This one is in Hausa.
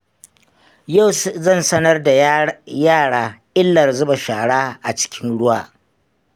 Yau zan sanarda yara illar zuba shara a cikin ruwa.